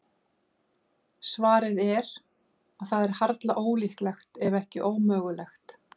Svarið er að það er harla ólíklegt, ef ekki ómögulegt.